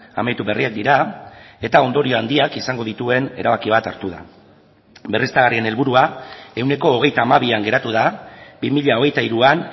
amaitu berriak dira eta ondorio handiak izango dituen erabaki bat hartu da berriztagarrien helburua ehuneko hogeita hamabian geratu da bi mila hogeita hiruan